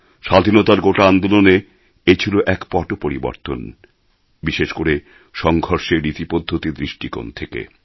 স্বাধীনতার গোটা আন্দোলনে এ ছিল এক পট পরিবর্তন বিশেষ করে সঙ্ঘর্ষের রীতি পদ্ধতির দৃষ্টিকোণ থেকে